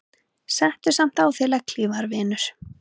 Settu samt á þig legghlífar vinur.